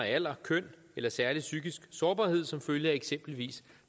alder køn eller særlige psykiske sårbarhed som følge af eksempelvis